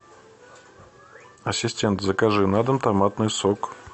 ассистент закажи на дом томатный сок